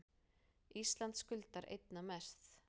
Ísland skuldar einna mest